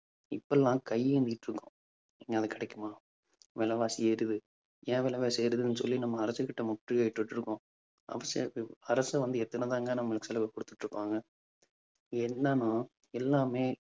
இப்ப எல்லாம் கையேந்திட்டிருக்கோம். எங்கேயாவது கிடைக்குமா விலைவாசி ஏறுது. ஏன் விலைவாசி ஏறுதுன்னு சொல்லி நம்ம அரசுகிட்ட முற்றுகையிட்டு இருக்கோம் அரசு வந்து எத்தனைதாங்க நம்மளுக்கு செலவு குடுத்துட்டிருப்பாங்க என்னன்னா எல்லாமே